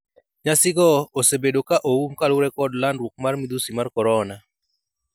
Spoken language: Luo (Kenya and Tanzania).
nyasigo osebedo ka oum kaluwore kod landruok mar midhusi mar korona,